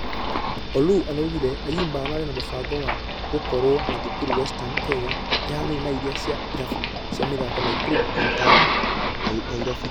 Oloo araugire ayimba ararĩ na mũbango wa wa gũkorwo na thukuru western kenya ĩhanaine na iria cie irabu cia mĩthako naikuru na impala nyairobi.